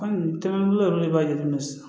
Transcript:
Kɔmi tana b'u yɛrɛ de b'a jira sisan